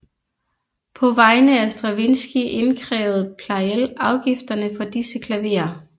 På vegne af Stravinskij indkrævede Pleyel afgifterne for disse klaverer